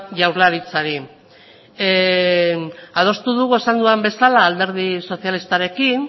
jaurlaritzari adostu dugu esan dudan bezala alderdi sozialistarekin